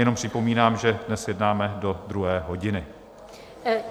Jenom připomínám, že dnes jednáme do druhé hodiny.